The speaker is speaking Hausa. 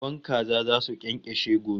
Kwan kaza zasu kyankashe gobe